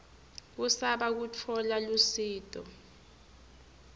kusaba kutfola lusito